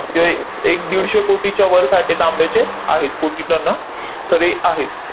किंवा ए एक दीडशे कोटीच्या वर साठे तांब्याचे आहेत, कोटी टना तरी आहेत.